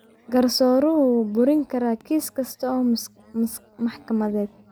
Garsooruhu wuu burin karaa kiis kasta oo maxkamadeed.